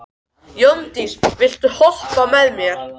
Jóndís, viltu hoppa með mér?